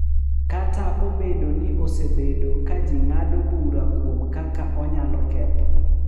Kata obedo ni osebedo ka ji ng’ado bura kuom kaka onyalo ketho,